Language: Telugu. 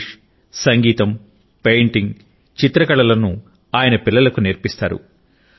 ఇంగ్లీష్ సంగీతం పెయింటింగ్ చిత్రకళ లను ఆయన పిల్లలకు నేర్పిస్తారు